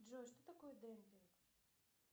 джой что такое демпинг